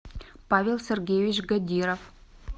павел сергеевич гадиров